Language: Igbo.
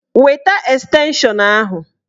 Weta estenshọn ahụ!